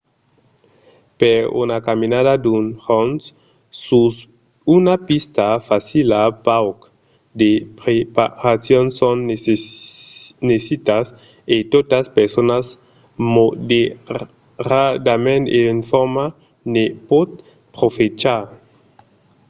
per una caminada d'un jorn sus una pista facila pauc de preparacions son necitas e tota persona moderadament en forma ne pòt profechar